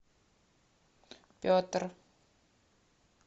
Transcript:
петр